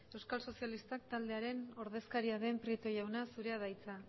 euskal sozialistak taldearen ordezkaria den prieto jauna zurea da hitza